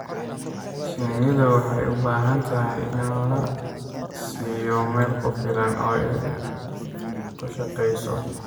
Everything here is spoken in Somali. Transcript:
Shinnidu waxay u baahan tahay in la siiyo meel ku filan oo ay ku shaqeyso.